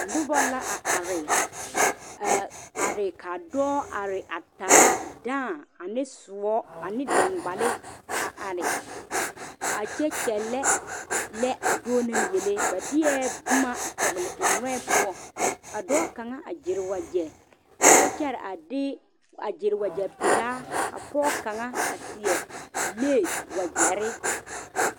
Noba la a are a are kaa dɔɔ are a taa dãã ane soɔ ane dangbale a are a kyɛ kyɛle lɛ a dɔɔ naŋ yeli ba deɛ boma a tɔgle o noɛ poɔ ka dɔɔ kaŋa a gyere wagye a kyɛ kyɛre a de wagye peɛle ka pɔge kaŋa seɛ lesi wagyere.